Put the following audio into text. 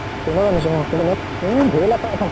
train ত আনিছো। অʼ । train ত । এ ধেৰ লেথা ।